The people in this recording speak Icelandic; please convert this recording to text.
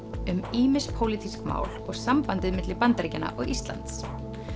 ýmis pólitísk mál og sambandið milli Bandaríkjanna og Íslands